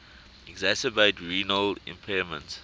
exacerbate renal impairment